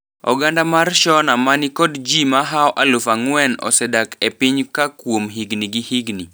Oganda mar Shona manikod jii mahao eluf angwen osedak e piny ka kuom higni gi higni.